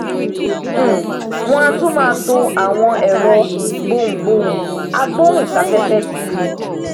um wọn a tún máa to àwọn ẹrọ gboùngboùn agbóùn sáfẹfẹ síi